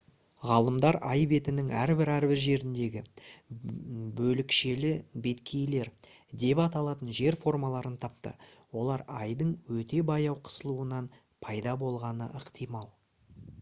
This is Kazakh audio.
ғалымдар ай бетінің әрбір-әрбір жеріндегі «бөлікшелі беткейлер» деп аталатын жер формаларын тапты. олар айдың өте баяу қысылуынан пайда болғаны ықтимал